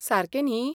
सारकें न्ही?